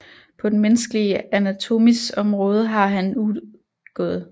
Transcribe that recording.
På den menneskelige Anatomis Omraade har han udg